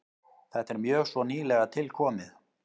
Þetta er mjög svo nýlega tilkomið.